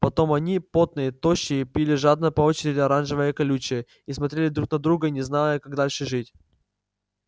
потом они потные тощие пили жадно по очереди оранжевое колючее и смотрели друг на друга не зная как дальше жить